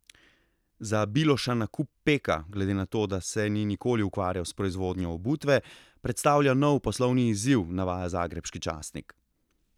Za Biloša nakup Peka, glede na to, da se ni nikoli ukvarjal s proizvodnjo obutve, predstavlja nov poslovni izziv, navaja zagrebški časnik.